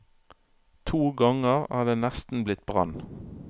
To ganger er det nesten blitt brann.